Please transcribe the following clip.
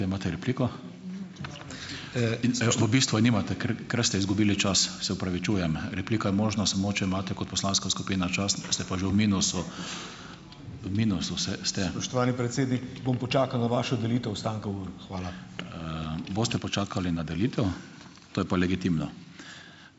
Spoštovani predsednik, bom počakal na vašo delitev ostanka ur. Hvala.